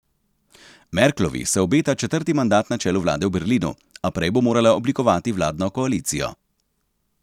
Merklovi se obeta četrti mandat na čelu vlade v Berlinu, a prej bo morala oblikovati vladno koalicijo.